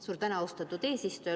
Suur tänu, austatud eesistuja!